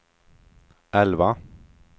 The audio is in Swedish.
elva